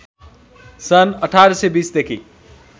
सन् १८२० देखि